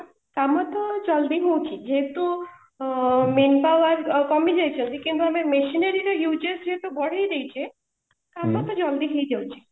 ହଁ କାମ ତ ଜଲଦି ହଉଛି ଯେହେତୁ manpower କମି ଯାଇଛନ୍ତି କିନ୍ତୁ ଆମେ machinery ର uses ଯେହେତୁ ବଢେଇ ଦେଇଛେ କାମ ତ ଜଲଦି ହେଇ ଯାଉଛି